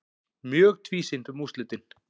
Mjög tvísýnt um úrslitin